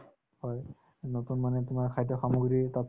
হয়, নতুন মানুহে তোমাক খাদ্য-সামগ্ৰীৰ এটা